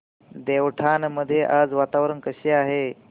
देवठाण मध्ये आज वातावरण कसे आहे